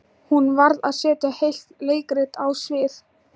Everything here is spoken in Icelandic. Hún varð að setja heilt leikrit á svið.